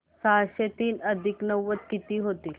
सहाशे तीन अधिक नव्वद किती होतील